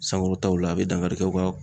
Sankɔrɔtaw la a bɛ dankari kɛ u ka